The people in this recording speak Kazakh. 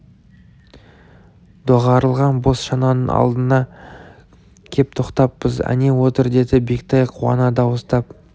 доғарылған бос шананың алдына кеп тоқтаппыз әне отыр деді бектай қуана дауыстап